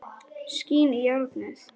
Skín í járnið.